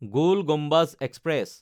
গল Gumbaz express